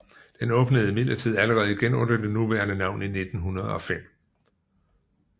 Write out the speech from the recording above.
Den åbnede imidlertid allerede igen under det nuværende navn i 1905